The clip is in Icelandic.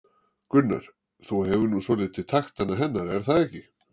Gunnar: Þú hefur nú svolítið taktana hennar er það ekki?